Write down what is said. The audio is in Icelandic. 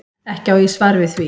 Ekki á ég svar við því.